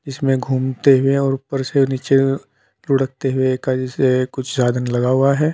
इसमें घूमते हुए और ऊपर से नीचे लुडकते हुए जैसे कुछ साधन लगा हुआ है।